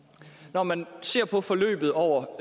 når man ser på forløbet over